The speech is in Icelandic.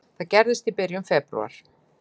Það gerðist í byrjun febrúar.